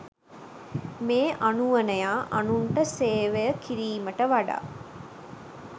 මේ අනුවණයා අනුන්ට සේවය කිරීමට වඩා